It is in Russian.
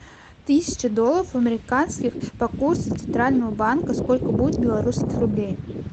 тысяча долларов американских по курсу центрального банка сколько будет белорусских рублей